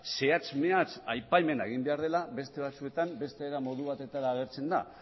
zehatz mehatz aipamena egin behar dela beste batzuetan beste modu batera agertzen da